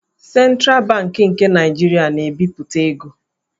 Sentral Bankị nke Naịjirịa na-ebipụta ego.